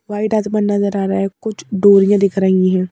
White आसमान नजर आ रहा है कुछ डोरियाँ दिख रही हैं।